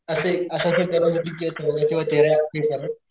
असे अस अस